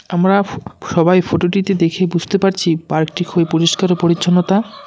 আমরা ফু সবাই ফটোটিতে দেখে বুঝতে পারছি পার্কটি খুবই পরিষ্কার পরিচ্ছন্নতা।